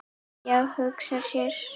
Já, hugsa sér!